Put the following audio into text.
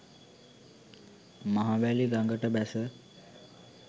මහවැලි ගඟට බැස